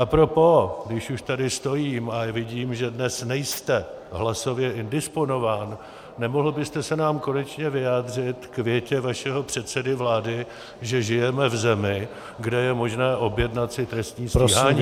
A propos, když už tady stojím a vidím, že dnes nejste hlasově indisponován, nemohl byste se nám konečně vyjádřit k větě vašeho předsedy vlády, že žijeme v zemi, kde je možné objednat si trestní stíhání?